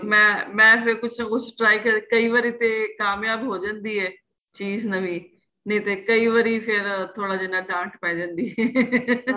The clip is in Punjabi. ਮੈਂ ਫ਼ੇਰ ਕੁੱਛ try ਕਰਕੇ ਕਈ ਵਾਰੀ ਤੇ ਕਾਮਯਾਬ ਹੋ ਜਾਂਦੀ ਏ ਚੀਜ ਨਵੀਂ ਨਹੀਂ ਤੇ ਕਈ ਵਾਰੀ ਫ਼ੇਰ ਥੋੜਾ ਜਿੰਨਾ ਡਾਂਟ ਪੈ ਜਾਂਦੀ ਏ